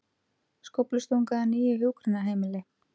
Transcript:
Skóflustunga að nýju hjúkrunarheimili